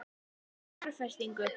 Hvaða fjárfestingu?